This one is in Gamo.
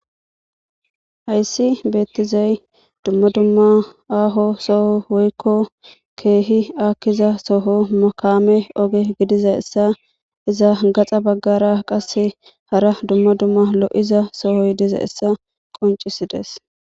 hayssi beettizay dumma dumma aaho soho woykko keehi akkiza soho makame oge gidiza essa iza gaxa baggara qasse hara dumma dumma lo7iza sohoy diza essa qoncisides